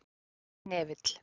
Hnefill